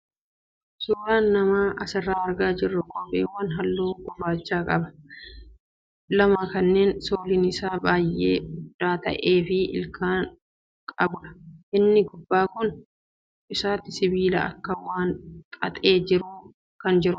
Suuraan nama asirraa argaa jirru kophewwan halluu gurraachaqaban lama kanneen sooliin isaas baay'ee furdaa ta'ee fi ilkaan qabudha. Inni kun gubbaa isaatti sibiila akka waan wal xaxee jiruutti kan jirudha.